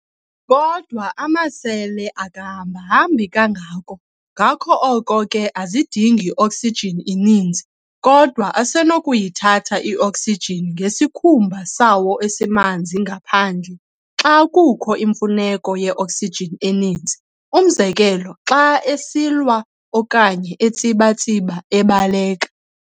Kodwa amasele akahambahambi kangako, ngako oko ke azidingi oksijini ininzi, kodwa asenokuyithatha i-oksijini ngesikhumba sawo esimanzi manzi ngaphandle xa kukho imfuneko ye-oksijini eninzi. Umzekelo, xa esilwa okanye etsiba-tsiba ebaleka.